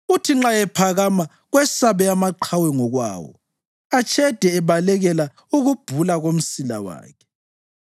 Uthi nxa ephakama kwesabe amaqhawe ngokwawo; atshede ebalekela ukubhula komsila wakhe.